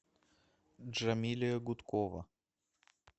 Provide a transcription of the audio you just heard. джамилия гудкова